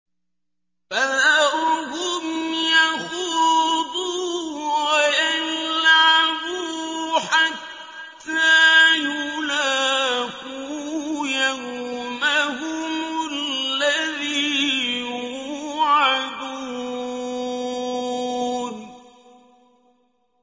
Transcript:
فَذَرْهُمْ يَخُوضُوا وَيَلْعَبُوا حَتَّىٰ يُلَاقُوا يَوْمَهُمُ الَّذِي يُوعَدُونَ